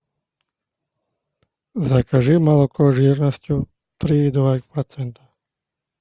закажи молоко жирностью три и два процента